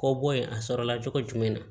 Kɔ bɔ yen a sɔrɔla cogo jumɛn na